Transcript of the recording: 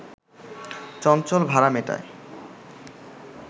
চঞ্চল ভাড়া মেটায়